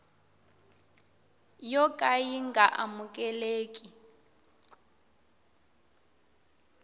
yo ka yi nga amukeleki